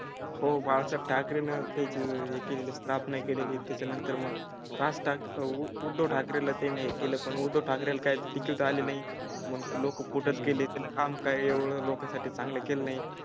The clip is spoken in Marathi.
हो बाळ ठाकरे नर त्याचे केले स्थापना ही केली. त्याच्या नंतर मग राज ठाकरे उद्धव ठाकरे ला ते मान्य केलं. पण उद्धव ठाकरे काय तिकीट आले नाही. मग लोक पुट केले त्याला काम काय एवढं लोकांसाठी चांगलं केलं नाही